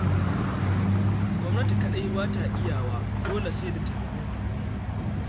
Gwamnati kaɗai ba ta iyawa dole sai da taimakon al'umma.